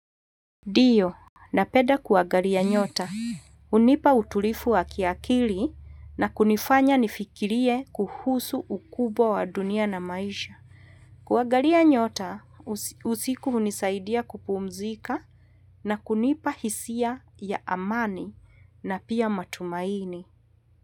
Ndio, na peda kuagalia nyota. Unipa utulifu wa kiakili na kunifanya nifikirie kuhusu ukubwa wa dunia na maisha. Kuagalia nyota usiku hunisaidia kupumzika na kunipa hisia ya amani na pia matumaini.